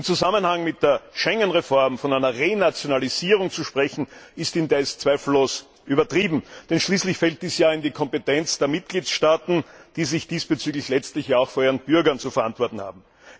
Im Zusammenhang mit der Schengen Reform von einer Renationalisierung zu sprechen, ist indes zweifellos übertrieben, denn schließlich fällt sie in die Kompetenz der Mitgliedstaaten, die sich diesbezüglich letztlich auch vor ihren Bürgern zu verantworten haben.